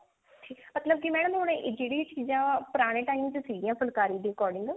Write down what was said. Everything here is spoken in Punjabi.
ਠੀਕ ਮਤਲਬ ਕੀ madam ਹੁਣ ਜਿਹੜੀ ਚੀਜ਼ਾਂ ਪੁਰਾਣੇ time ਸੀਗੀਆ ਫੁਲਕਾਰੀ ਦੇ according